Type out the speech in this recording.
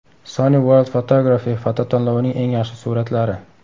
Sony World Photography fototanlovining eng yaxshi suratlari.